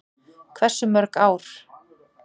Hversu mörg ár?